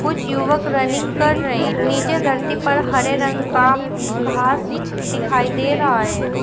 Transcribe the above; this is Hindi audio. कुछ युवक रनिंग कर रहे हैं नीचे धरती पर हरे रंग का घास दिखाई दे रहा है।